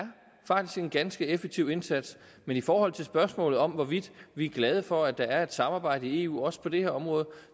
en ganske effektiv indsats men i forhold til spørgsmålet om hvorvidt vi er glade for at der er et samarbejde i eu også på det her område